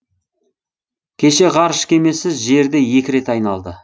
кеше ғарыш кемесі жерді екі рет айналды